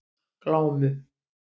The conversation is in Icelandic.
Glámu